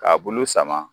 K'a bulu sama